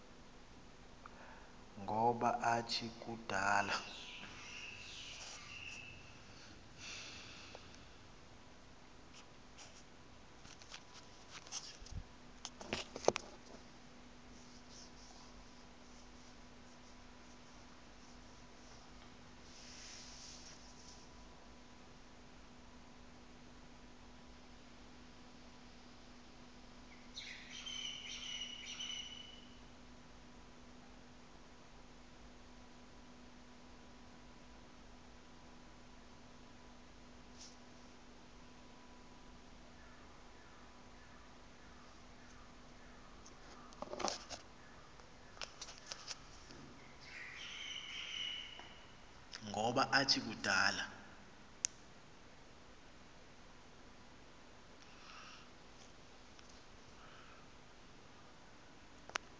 ngoba athi kudala